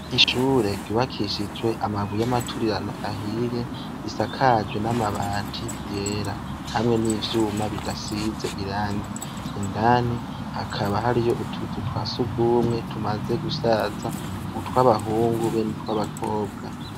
Ishure ryubakishijwe amabuye y'amaturirano ahiye risakajwe n'amabati yera hamwe n'ivyuma bidasize irangi, indani hakaba hariyo utuzu twa sugumwe tumaze gusaza, utw'abahungu be n'utw'abakobwa.